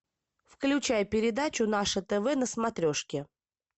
включай передачу наше тв на смотрешке